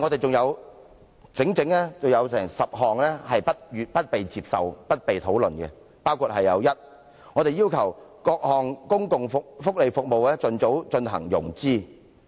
還有整整10項建議不獲接納和沒有討論，包括：第一，我們要求各項公共福利服務盡早進行融資。